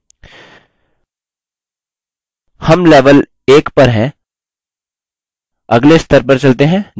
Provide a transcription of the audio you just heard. हम level 1 पर हैं अगले स्तर पर चलते हैं जो 2 है